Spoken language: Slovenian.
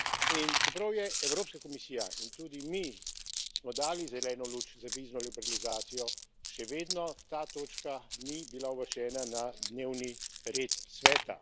In čeprav je Evropska komisija in tudi mi smo dali zeleno luč za vizno liberalizacijo, še vedno ta točka ni bila uvrščena na dnevni red Sveta.